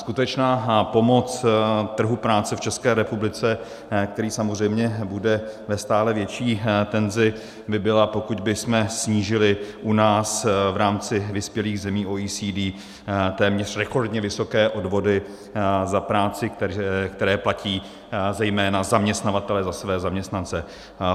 Skutečná pomoc trhu práce v České republice, který samozřejmě bude ve stále větší tenzi, by byla, pokud bychom snížili u nás v rámci vyspělých zemí OECD téměř rekordně vysoké odvody za práci, které platí zejména zaměstnavatelé za své zaměstnance.